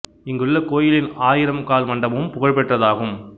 இங்குள்ள கோயிலின் ஆயிரம் கால் மண்டபமும் புகழ் பெற்றது ஆகும்